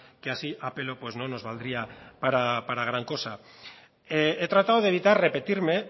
que así a pelo pues no nos valdría para gran cosa he tratado de evitar repetirme